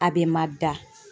A bɛ ma da.